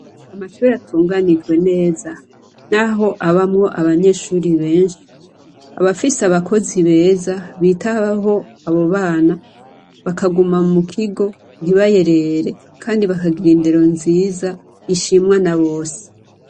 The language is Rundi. Amashure atunganijwe neza, naho abamwo abanyeshuri benshi abafise abakozi beza bitabaho abo bana bakaguma mu kigo ntibayerere, kandi bakagira indero nziza ishimwa na bose.